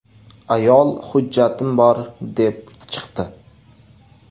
Ayol ‘hujjatim bor’, deb chiqdi.